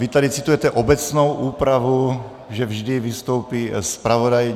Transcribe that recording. Vy tady citujete obecnou úpravu, že vždy vystoupí zpravodaj.